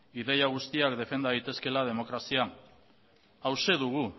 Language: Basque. ideia guztiak defenda daitezkeela demokrazian hauxe dugu